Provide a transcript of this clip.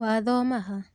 Wathoma ha?